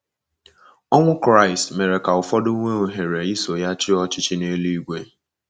Ọnwụ Kraịst mere ka ụfọdụ nwee ohere iso ya chịa ọchịchị n’eluigwe.